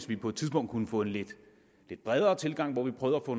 vi på et tidspunkt kunne få en lidt bredere tilgang og prøve at få